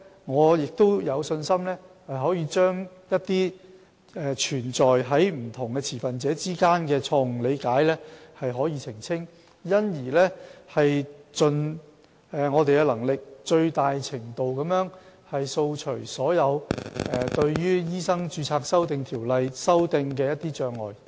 我有信心我們可以澄清這些存在於不同持份者之間的錯誤理解，從而盡力掃除所有對修訂《醫生註冊條例》的障礙。